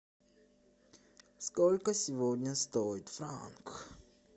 сколько сегодня стоит франк